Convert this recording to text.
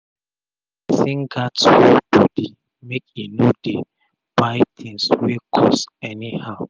pesin gats hold bodi make e no dey buy tins wey cost any how